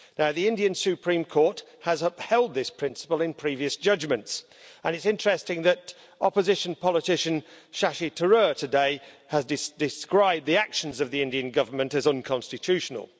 The Indian Supreme Court has upheld this principle in previous judgments, and it's interesting that opposition politician Shashi Tharoor has today described the actions of the Indian Government as unconstitutional.